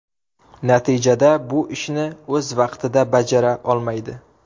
Natijada bu ishni o‘z vaqtida bajara olmaydi.